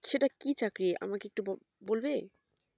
সেটা কি চাকরি আমাকে একটু ব~বলবে?